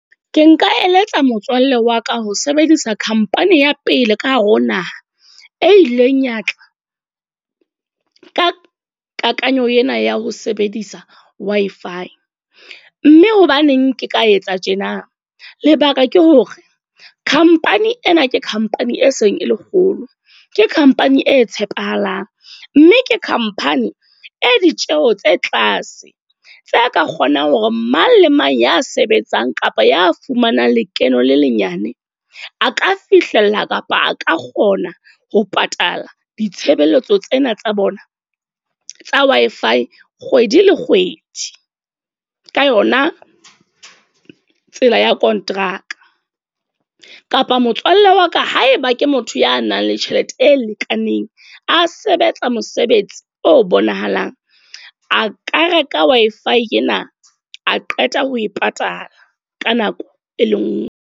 Ke nka eletsa motswalle wa ka ho sebedisa company ya pele ka hare ho naha. E ileng ya tla, ka kakanyo ena ya ho sebedisa Wi-Fi. Mme hobaneng ke ka etsa tjena? Lebaka ke hore company ena ke khampani e seng e kgolo ke khampani e tshepahalang. Mme ke khampani e ditjeho tse tlase, tse ka kgonang hore mang le mang ya sebetsang kapa ya fumanang lekeno le lenyane. A ka fihlella kapa a ka kgona ho patala ditshebeletso tsena tsa bona tsa Wi-Fi kgwedi le kgwedi. Ka yona tsela ya kontraka. Kapa motswalle wa ka haeba ke motho ya nang le tjhelete e lekaneng, a sebetsa mosebetsi o bonahalang. A ka reka Wi-Fi ena a qeta ho e patala, ka nako e le nngwe.